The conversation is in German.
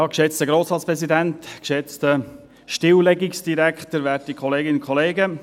Geschätzter Grossratspräsident, geschätzter Stilllegungsdirektor, werte Kolleginnen und Kollegen.